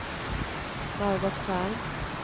Margot Ferm